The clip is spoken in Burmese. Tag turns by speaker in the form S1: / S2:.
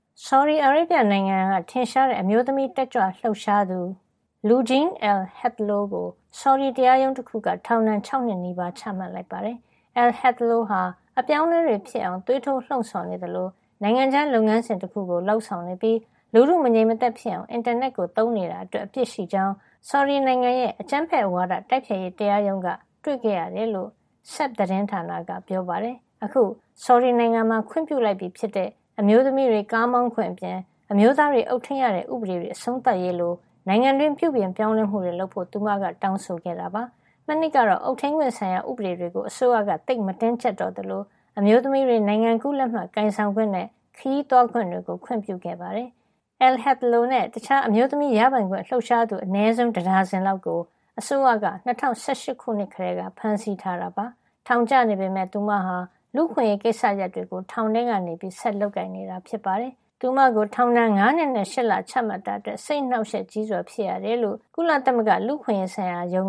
S1: ဆော်ဒီအာရေဗျနိုင်ငံက ထင်ရှားတဲ့ အမျိုးသမီးတက်ကြွလှုပ်ရှားသူ Loujain al-Hathloul ကို ဆော်ဒီတရားရုံးတခုက ထောင်ဒဏ် ၆ နှစ်နီးပါး ချမှတ်လိုက်ပါတယ်။ Al-Hathloul ဟာ အပြောင်းအလဲတွေဖြစ်အောင် သွေးထိုးလှုံ့ဆော်နေသလို၊ နိုင်ငံခြားလုပ်ငန်းစဉ်တခုကို လုပ်ဆောင်နေပြီး လူထုမငြိမ်မသက်ဖြစ်အောင် အင်တာနက်ကို သုံးနေတာ အတွက် အပြစ်ရှိကြောင်း ဆော်ဒီနိုင်ငံရဲ့ အကြမ်းဖက်ဝါဒတိုက်ဖျက်ရေး တရားရုံးက တွေ့ခဲ့ရတယ်လို့ Sabq သတင်းဌာနက ပြောပါတယ်။ အခု ဆော်ဒီနိုင်ငံမှာ ခွင့်ပြုလိုက်ပြီဖြစ်တဲ့ အမျိုးသမီးတွေ ကားမောင်းခွင့်အပြင် အမျိုးသားတွေ အုပ်ထိန်းရတဲ့ဥပဒေတွေ အဆုံးသတ်ရေးလို နိုင်ငံတွင်း ပြုပြင်ပြောင်းလဲမှုတွေ လုပ်ဖို့သူမက တောင်းဆိုခဲ့တာ ဖြစ်ပါတယ်။ မနှစ်ကတော့ အုပ်ထိန်းခွင့်ဆိုင်ရာ ဥပဒေတွေကို အစိုးရက သိပ်မတင်းကြပ်တော့သလို အမျိုးသမီးတွေ နိုင်ငံကူးလက်မှတ်ကိုင်ဆောင်ခွင့်နဲ့ ခရီးသွားခွင့်တွေ အတွက် ခွင့်ပြုခဲ့တာပါ။ Al-Hathloul နဲ့ တခြား အမျိုးသမီး ရပိုင်ခွင့် လှုပ်ရှားသူ အနည်းဆုံးတဒါဇင်လောက်ကို အစိုးရက ၂၀၁၈ ခုနှစ်ကတည်းက ဖမ်းဆီးထားတာ ဖြစ်ပါတယ်။ ထောင်ကျနေပေမယ့် သူမဟာ လူ့အခွင့်ရေးကိစ္စရပ်တွေကို ထောင်ထဲကနေ ဆက်ပြီးလုပ်နေတာ ဖြစ်ပါတယ်။ သူမကို ထောင်ဒဏ် ၅ နှစ်နဲ့ ၈ လ ချမှတ်တာအတွက် စိတ်အနှောက်အယှက်ကြီးစွာဖြစ်ရကြောင်း ကုလသ
S2: မဂ္ဂ လု့အခွင့်ရေးဆိုင်ရာရုံ